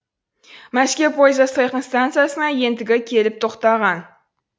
мәскеу пойызы сайқын стансасына ентігі келіп тоқтаған